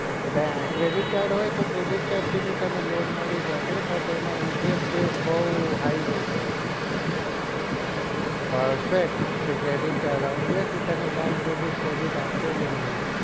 credit card હોય તો તને loan મળી જશે but એમાં interested બઉ high રેસે perfect તે credit card આવું જોઈએ ફિર bank તને ક્રેડિટ આપશે પન નાઈ